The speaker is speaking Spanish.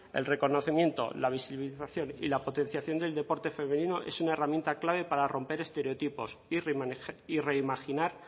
el reconocimiento la visibilización y la potenciación del deporte femenino es una herramienta clave para romper estereotipos y reimaginar